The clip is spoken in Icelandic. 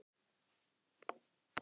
Notuðuð þið ekki rúmið?